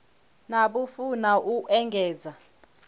na vhufuwi na u engedza